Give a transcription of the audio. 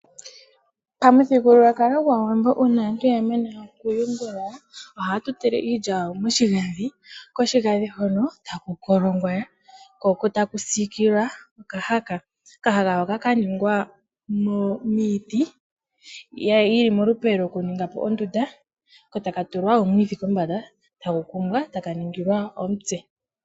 Pamuthigululwakala gwAawambo uuna aantu ya mana okuyungula ohaya tutile iilya yawo moshigandhi ko koshigandhi hono taku siikilwa okahaka, okahaka hoka ka ningwa miiti yi li molupe lwondunda ko taka tulwa omwiidhi kombanda ko taka kumbwa e taka ningilwa omutse.